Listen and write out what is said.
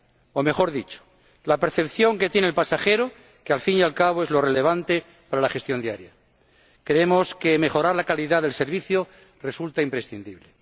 O mejor dicho, la percepción que de la calidad tiene el pasajero, que al fin y al cabo es lo relevante para la gestión diaria. Creemos que mejorar la calidad del servicio resulta imprescindible.